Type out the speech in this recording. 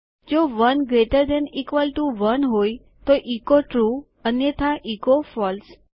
જો 1 gt 1 હોય તોecho ટ્રૂ અન્યથા એચો ફળસે